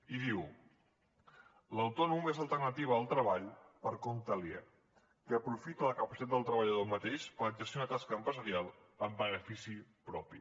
i diu l’autònom és l’alternativa al treball per compte aliè que aprofita la capacitat del treballador mateix per exercir una tasca empresarial en benefici propi